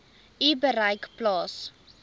u bereik plaas